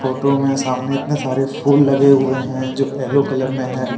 Photo में सामने इतने सारे फूल लगे हुए हैं जो येलो कलर में है।